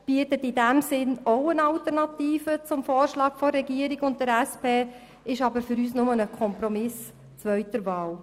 er bietet in diesem Sinn ebenfalls eine Alternative zu den Vorschlägen von Regierung und SP, doch für uns ist er nur ein Kompromiss zweiter Wahl.